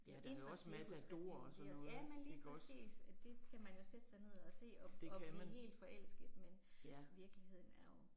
Ja det er fra Cirkusrevyen det også ja men lige præcis og det kan man jo sætte sig ned og se og og blive helt forelsket, men virkeligheden er jo